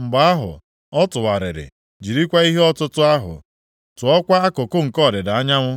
Mgbe ahụ, ọ tụgharịrị jirikwa ihe ọtụtụ ahụ tụọkwa akụkụ nke ọdịda anyanwụ.